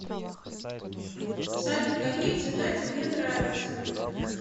салют какие цвета тебе нравятся